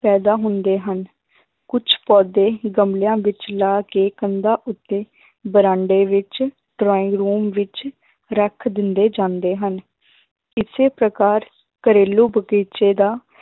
ਪੈਦਾ ਹੁੰਦੇ ਹਨ ਕੁੱਝ ਪੌਦੇ ਗਮਲਿਆਂ ਵਿੱਚ ਲਾ ਕੇ ਕੰਧਾਂ ਉੱਤੇ ਬਰਾਂਡੇ ਵਿੱਚ drawing room ਵਿੱਚ ਰੱਖ ਦਿੰਦੇ ਜਾਂਦੇ ਹਨ ਇਸੇ ਪ੍ਰਕਾਰ ਘਰੇਲੂ ਬਗ਼ੀਚੇ ਦਾ